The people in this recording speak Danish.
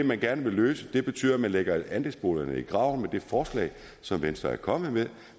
man gerne vil løse det problem betyder at man lægger andelsboligerne i graven med det forslag som venstre er kommet med